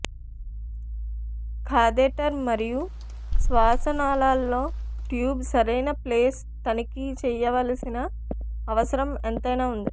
catheter మరియు శ్వాసనాళాలలో tube సరైన ప్లేస్ తనిఖీ చేయవలసిన అవసరం ఎంతైనా ఉంది